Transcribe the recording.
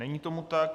Není tomu tak.